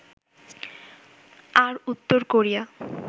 আর উত্তর কোরিয়া